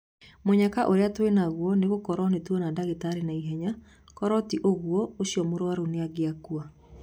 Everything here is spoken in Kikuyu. Mũnyaka ũria twĩ naguo nĩ gũkorwo nĩtwona dagĩtarĩ naihenya korwo ti ũgwo ucio mũrwaru nĩangĩakua